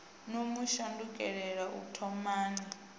no mu shandukela u thomani